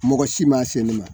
Mɔgɔ si ma se ne ma